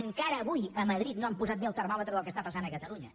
encara avui a madrid no han posat bé el termòmetre del que està passant a catalunya